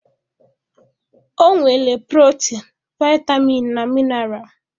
Ọ nwere protin, vitamin na mineral.